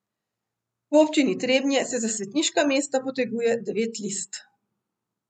V Občini Trebnje se za svetniška mesta poteguje devet list.